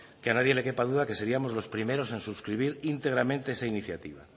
que a nadie le quepa duda que seriamos los primeros en suscribir íntegramente esta iniciativa